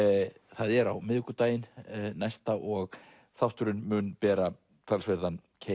það er á miðvikudaginn næsta og þátturinn mun bera keim